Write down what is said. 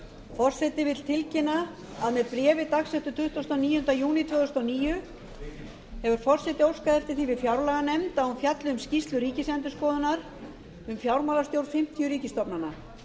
forseti vill tilkynna að með bréfi dagsettu tuttugasta og níunda júní tvö þúsund og níu hefur forseti óskað eftir því við fjárlaganefnd að hún fjalli um skýrslu ríkisendurskoðunar um fjármálastjórn fimmtíu ríkisstofnana